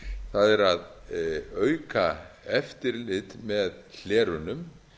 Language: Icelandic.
það er að auka eftirlit með hlerunum